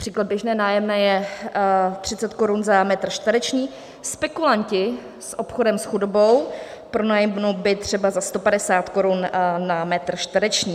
Příklad: běžné nájemné je 30 korun za metr čtvereční, spekulanti s obchodem s chudobou pronajmou byt třeba za 150 korun za metr čtvereční.